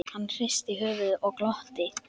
Hann hristi höfuðið og glotti.